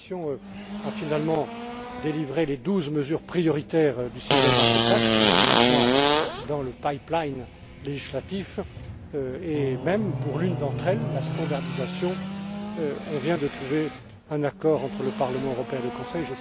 La Commission a finalement produit les douze mesures prioritaires du Single Market Act qui sont maintenant dans le pipeline législatif et, même, pour l'une d'entre elles, la standardisation, on vient de trouver un accord entre le Parlement et le Conseil.